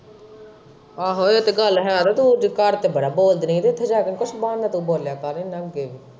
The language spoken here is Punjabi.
ਆਹੋ ਇਹ ਤੇ ਗੱਲ ਹੈਅ ਤੂੰ ਘਰ ਤਾਂ ਬੜਾ ਬੋਲਦੀ ਰਹੀ ਤੇ ਉੱਥੇ ਜਾ ਕੇ ਵੀ ਕੁੱਛ ਮਾੜਾ-ਮੋਟਾ ਬੋਲਿਆ ਕਰ ਇਨ੍ਹਾਂ ਅੱਗੇ।